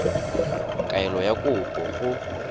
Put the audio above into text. kaelo ya kopo go go